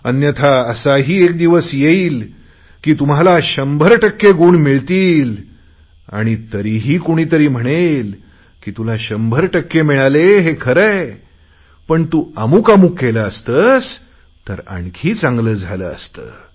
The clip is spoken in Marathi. अन्यथा असाही एक दिवस येईल की तुम्हाला 100 टक्के गुण मिळतील आणि तरीही कुणी म्हणेल की तुला शंभर टक्के गुण मिळाले हे खरे आहे पण तू अमूकअमूक केले असते तर आणखी चांगले झाले असते